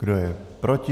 Kdo je proti?